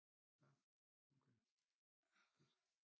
Ja